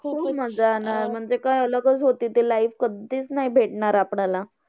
खूप मज्जा आला, म्हणजे काय अलग चं होती ती life कधीच नाही भेटणार आपल्याला.